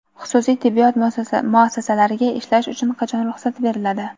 Xususiy tibbiyot muassasalariga ishlash uchun qachon ruxsat beriladi?.